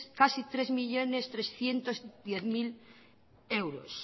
trescientos diez mil de euros